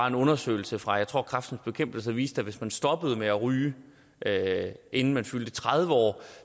en undersøgelse fra fra kræftens bekæmpelse viste at hvis man stoppede med at ryge inden man fyldte tredive år